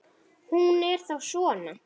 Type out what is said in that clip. Hún er þá svona!